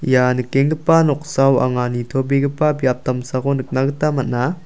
ia nikengipa noksao anga nitobegipa biap damsako nikna gita man·a.